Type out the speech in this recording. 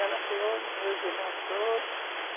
Ela criou meus irmãos todos.